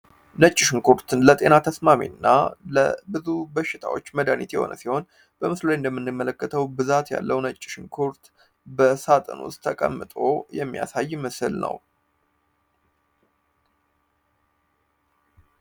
ነጭሽን ኩርትን ለጤና ተስማሜ እና ለብዙ በሽታዎች መዳኒት የሆነ ሲሆን በምስሉ እንደምንመለከተው ብዛት ያለው ነጭሽን ኩርት በሳጥን ውስጥ ተቀምጦ የሚያሳይ ይምስል ነው